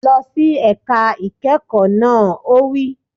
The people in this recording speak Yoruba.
Lọ sí ẹ̀ka ìkẹ́kọ̀ọ́ náà! Ó wí